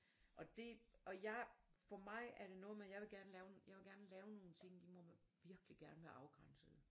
Og det og jeg for mig er det noget med jeg vil gerne lave jeg vil gerne lave nogle ting de må virkeligt gerne være afgrænsede